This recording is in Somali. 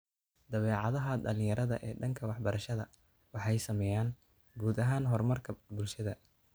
Dabeecadaha dhalinyarada ee dhanka waxbarashada waxay saameeyaan guud ahaan horumarka bulshada